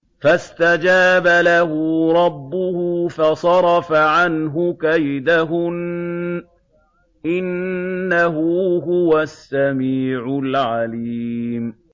فَاسْتَجَابَ لَهُ رَبُّهُ فَصَرَفَ عَنْهُ كَيْدَهُنَّ ۚ إِنَّهُ هُوَ السَّمِيعُ الْعَلِيمُ